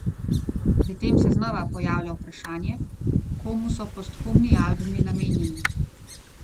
Si predstavljate, da živite v betonski džungli, pa se vseeno vsako jutro zbudite s pogledom na zelenje?